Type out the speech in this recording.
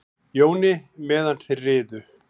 Jóni meðan þeir riðu.